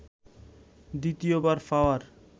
দ্বিতীয়বার পাওয়ার